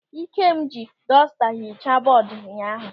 Ikem ji dọsta hichaa bọọdu ụnyaahụ.